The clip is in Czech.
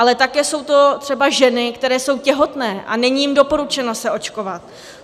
Ale také jsou to třeba ženy, které jsou těhotné a není jim doporučeno se očkovat.